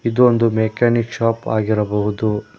ಇದು ಒಂದು mechanic shop ಆಗಿರಬಹುದು.